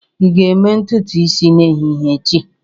Ị ga-eme ntutu isi n'ehihie echi?